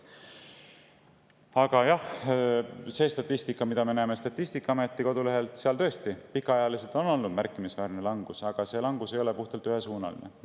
Aga jah, see statistika, mida me Statistikaameti kodulehelt näeme, näitab tõesti, et pikaajaliselt on olnud märkimisväärne langus, aga see langus ei ole puhtalt ühesuunaline.